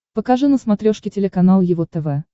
покажи на смотрешке телеканал его тв